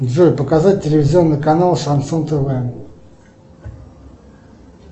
джой показать телевизионный канал шансон тв